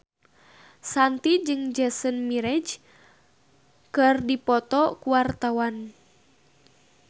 Shanti jeung Jason Mraz keur dipoto ku wartawan